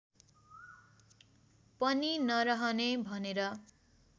पनि नरहने भनेर